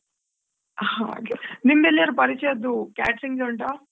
ಹಾಗೆ ನಿಮ್ಡ್ ಎಲ್ಲಿಯಾದ್ರೂ ಪರಿಚಯದು catering ಉಂಟಾ?